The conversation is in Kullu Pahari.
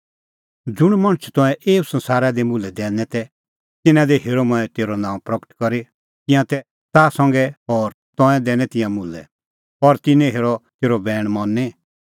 ज़ुंण मणछ तंऐं एऊ संसारा दी मुल्है दैनै तै तिन्नां दी हेरअ मंऐं तेरअ नांअ प्रगट करी तिंयां तै ताह संघै और तंऐं दैनै तिंयां मुल्है और तिन्नैं हेरअ तेरअ बैण मनी